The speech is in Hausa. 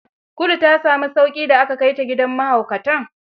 Kulu ta sami sauƙi da aka kai ta gidan mahaukatan?